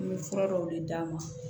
N bɛ fura dɔw de d'a ma